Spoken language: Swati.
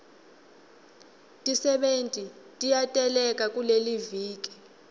tisebenti tiyateleka kuleliviki